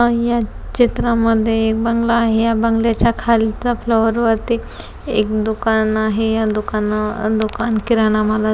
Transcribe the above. आणि या चित्रामध्ये एक बंगला आहे या बंगल्याच्या खालच्या फ्लोर वरती एक दुकान आहे या दुकाना दुकान किराणा माल --